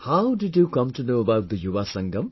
How did you come to know about the Yuva Sangam